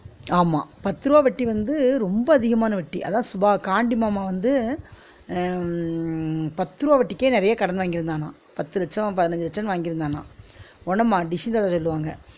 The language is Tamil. ஆமா பத்து ருவா வட்டி வந்து ரொம்ப அதிகமான வட்டி, அதான் சுபா கான்டி மாமா வந்து அஹ் பத்து ருவா வட்டிக்கே வந்து நிறய கடன் வாங்கி இருந்தானா பத்து லட்சோ பதினைஞ்சு லட்சோன்னு வாங்கி இருந்தான உடனே மா தாவ சொல்வாங்க